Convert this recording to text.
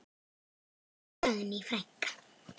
Elsku Dagný frænka.